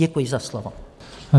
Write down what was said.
Děkuji za slovo.